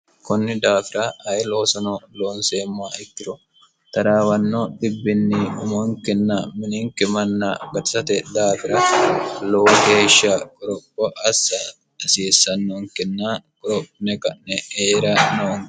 kunni daafira ayi loosono loonseemmo ikkiro taraawanno dhibbinni umonkinna mininki manna gaxisate daafira lowo geeshsha qoropo assa hasiissannonkinna qorophine ka'ne heera no